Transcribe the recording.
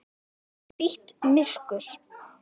Inn í hvítt myrkur.